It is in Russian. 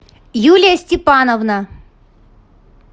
юлия степановна